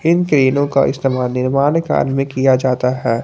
इन क्रेनों का इस्तेमाल निर्माण कार्य में किया जाता है।